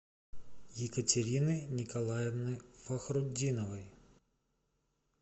екатерины николаевны фахрутдиновой